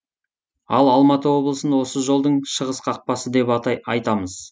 ал алматы облысын осы жолдың шығыс қақпасы деп айтамыз